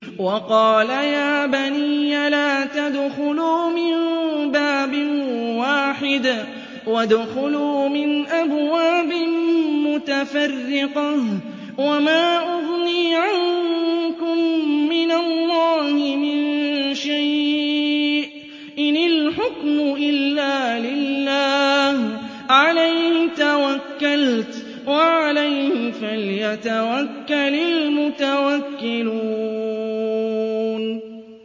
وَقَالَ يَا بَنِيَّ لَا تَدْخُلُوا مِن بَابٍ وَاحِدٍ وَادْخُلُوا مِنْ أَبْوَابٍ مُّتَفَرِّقَةٍ ۖ وَمَا أُغْنِي عَنكُم مِّنَ اللَّهِ مِن شَيْءٍ ۖ إِنِ الْحُكْمُ إِلَّا لِلَّهِ ۖ عَلَيْهِ تَوَكَّلْتُ ۖ وَعَلَيْهِ فَلْيَتَوَكَّلِ الْمُتَوَكِّلُونَ